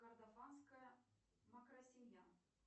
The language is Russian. кордофанская макросемья